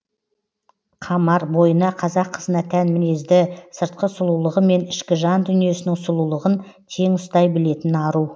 қамар бойына қазақ қызына тән мінезді сыртқы сұлулығы мен ішкі жан дүниесінің сұлулығын тең ұстай білетін ару